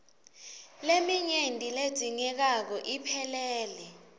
leminyenti ledzingekako iphelele